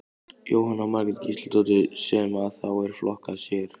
Jóhanna Margrét Gísladóttir: Sem að þá er flokkað sér?